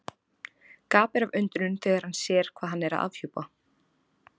Gapir af undrun þegar hann sér hvað hann er að afhjúpa.